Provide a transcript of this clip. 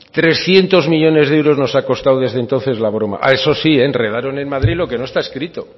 trescientos millónes euros nos ha costado desde entonces la broma eso sí enredaron en madrid lo que no está escrito